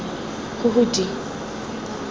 huhudi